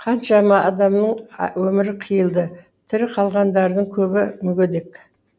қаншама адамның өмірі қиылды тірі қалғандардың көбі мүгедек